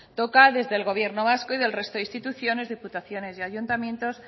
toca desde el gobierno vasco y del resto de instituciones diputaciones y ayuntamientos